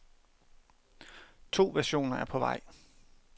To versioner er på vej.